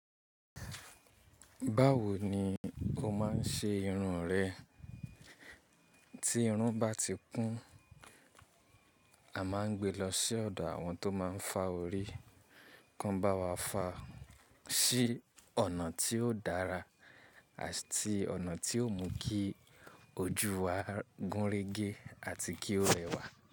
Báwo ni o má n ṣe irun rẹ? Tí irun bá ti kún, a má n gbé lọ sí ọ̀dọ̀ àwọn tó má n fa orí, kí wọ́n bá wa fa sí ọ̀nà tí ó dára àti ọ̀nà tí ó mú kí ojú wa gúnrégé àti kí ó rẹwà.